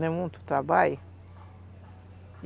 Não é muito trabalho?